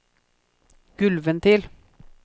gulvventil